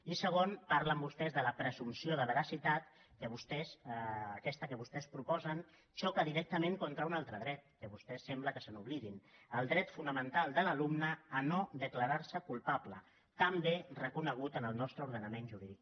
i segon parlen vostès de la presumpció de veracitat que aquesta que vostès proposen xoca directament contra un altre dret que vostès sembla que se n’oblidin el dret fonamental de l’alumne a no declarar se culpable també reconegut en el nostre ordenament jurídic